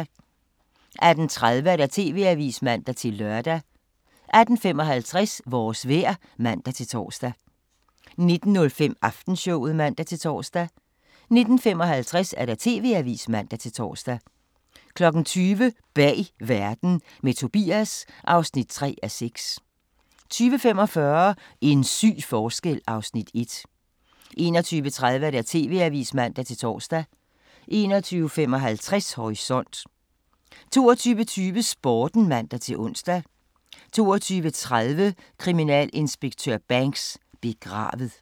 18:30: TV-avisen (man-lør) 18:55: Vores vejr (man-tor) 19:05: Aftenshowet (man-tor) 19:55: TV-avisen (man-tor) 20:00: Bag Verden – med Tobias (3:6) 20:45: En syg forskel (Afs. 1) 21:30: TV-avisen (man-tor) 21:55: Horisont 22:20: Sporten (man-ons) 22:30: Kriminalinspektør Banks: Begravet